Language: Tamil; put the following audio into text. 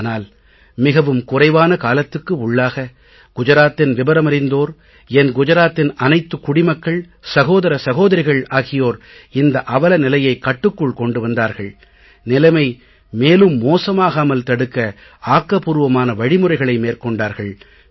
ஆனால் மிகவும் குறைவான காலத்துக்கு உள்ளாக குஜராத்தின் விவரம் அறிந்தோர் என் குஜராத்தின் அனைத்துக் குடிமக்கள் சகோதர சகோதரிகள் ஆகியோர் இந்த அவல நிலையைக் கட்டுக்குள் கொண்டு வந்தார்கள் நிலைமை மேலும் மோசமாகாமல் தடுக்க ஆக்கபூர்வமான வழிமுறைகளை மேற்கொண்டார்கள்